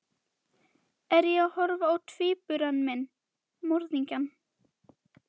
Er ég að horfa á tvíbura minn, morðingjann?